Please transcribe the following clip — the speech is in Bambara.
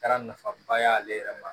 Kɛra nafaba y'ale yɛrɛ ma